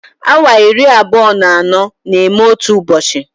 Awa iri abụọ na anọ na-eme otu ụbọchị